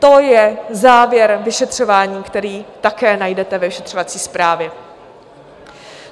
To je závěr vyšetřování, který také najdete ve vyšetřovací zprávě.